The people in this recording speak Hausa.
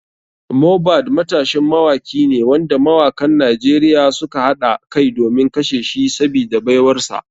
Mohbad matashin mawaki ne wanda mawakan nigeria suka haɗa kai domin kashe shi sabida baiwarsa.